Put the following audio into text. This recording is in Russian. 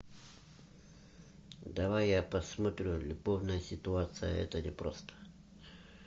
давай я посмотрю любовная ситуация это не просто